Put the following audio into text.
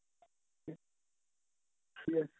yes